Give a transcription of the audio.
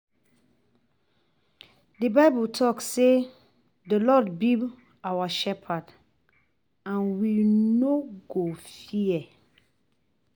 The bible talk say the lord be our shepherd and we no go fear